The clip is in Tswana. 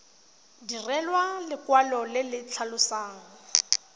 direlwa lekwalo le le tlhalosang